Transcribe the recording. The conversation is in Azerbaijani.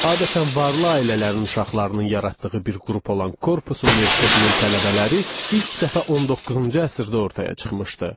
Adətən varlı ailələrin uşaqlarının yaratdığı bir qrup olan korpus universitetinin tələbələri ilk dəfə 19-cu əsrdə ortaya çıxmışdı.